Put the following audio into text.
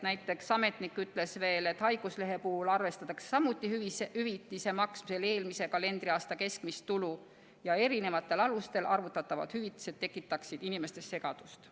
Näiteks ütles ametnik veel, et haiguslehe puhul arvestatakse hüvitise maksmisel samuti eelmise kalendriaasta keskmist tulu ja erinevatel alustel arvutatavad hüvitised tekitaksid inimestes segadust.